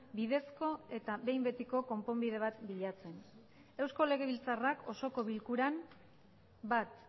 bidezko eta behin betiko konponbide bat bilatzen eusko legebiltzarrak osoko bilkuran bat